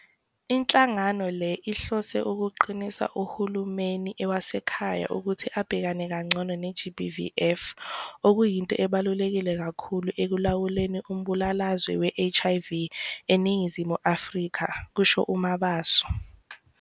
"Inhlangano le ihlose ukuqinisa uhulumeni wasekhaya ukuthi abhekane kangcono ne-GBVF, okuyinto ebaluleke kakhulu ekulawuleni umbulalazwe we-HIV eNingizimu Afrika," kusho uMabaso.